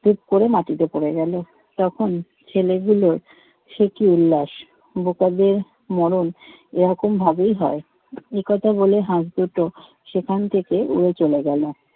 টুপ করে মাটিতে পড়ে গেল। তখন ছেলেগুলোর সে কি উল্লাস। বোকাদের মরণ এরকমভাবেই হয়, এ কথা বলে হাঁস দুটো সেখান থেকে উড়ে চলে গেলো।